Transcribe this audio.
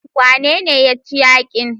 Wanene ya ci yakin?